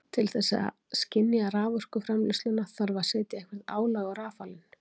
Til þess að skynja raforkuframleiðsluna þarf að setja eitthvert álag á rafalinn.